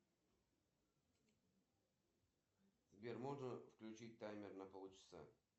джой мне нужно поменять четыреста фунтов острова мэн это сколько в евро